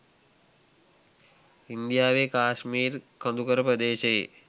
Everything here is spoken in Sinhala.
ඉන්දියාවේ කාශ්මීර් කඳුකර ප්‍රදේශයේ